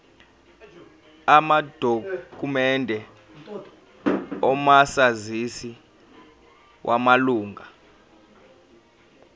amadokhumende omazisi wamalunga